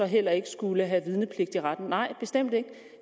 heller ikke skulle have vidnepligt i retten nej bestemt ikke